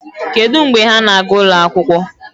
Kedụ mgbe ha na-aga ụlọ akwụkwọ?